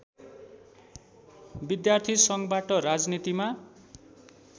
विद्यार्थी सङ्घबाट राजनीतिमा